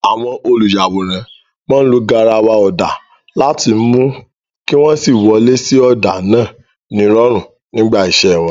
Àwọn olùyàwòrán máa ń lo garawa ọ̀dà láti mú kí wọ́n sì wọlé sí ọ̀dà náà nírọ̀rùn nígbà iṣẹ́ wọn.